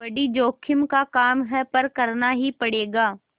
बड़ी जोखिम का काम है पर करना ही पड़ेगा